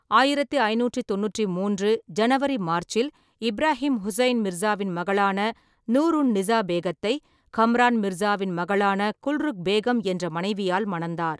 ஆயிரத்தி ஐநூற்றி தொண்ணூற்றி மூன்று ஜனவரி/மார்ச்சில் இப்ராஹிம் ஹுசைன் மிர்சாவின் மகளான நூர் உன்-நிசா பேகத்தை கம்ரான் மிர்சாவின் மகளான குல்ருக் பேகம் என்ற மனைவியால் மணந்தார்.